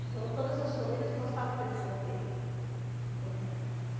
Então, todas as famílias passaram pelo sorteio, né.